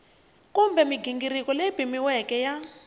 kumbe mighingiriko leyi pimiweke ya